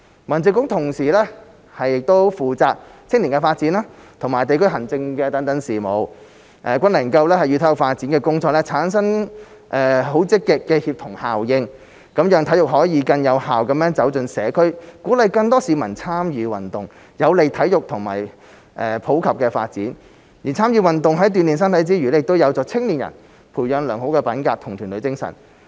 民政局同時負責青年發展和地區行政事務，均能夠與體育發展的工作產生積極協同效應，讓體育可以更有效地走進社區，鼓勵更多市民參與運動，有利體育的普及發展；而參與運動在鍛鍊身體之餘，亦有助青年人培養良好品格和團隊精神。